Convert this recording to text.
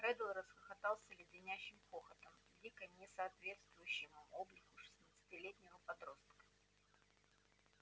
реддл расхохотался леденящим хохотом дико не соответствующим облику шестнадцатилетнего подростка